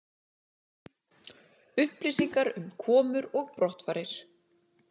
Upplýsingar um komur og brottfarir